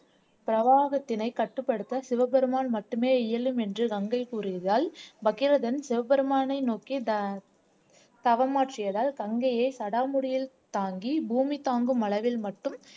பிரவாகத்தினை கட்டுப்படுத்த சிவபெருமான் மட்டுமே இயலும் என்று கங்கை கூறியதால் பகீரதன் சிவபெருமானை நோக்கி த தவமாற்றியதால் கங்கையை சடாமுடியில் தாங்கி பூமி தாங்கும் அளவில் மட்டும்